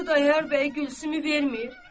Xudayar bəy Gülsümü vermir.